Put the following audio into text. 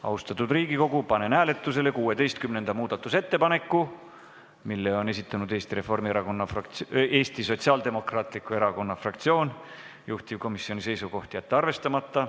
Austatud Riigikogu, panen hääletusele 16. muudatusettepaneku, mille on esitanud Eesti Sotsiaaldemokraatliku Erakonna fraktsioon, juhtivkomisjoni seisukoht: jätta see arvestamata.